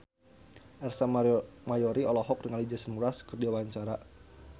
Ersa Mayori olohok ningali Jason Mraz keur diwawancara